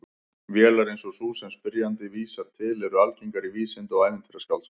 Vélar eins og sú sem spyrjandi vísar til eru algengar í vísinda- og ævintýraskáldskap.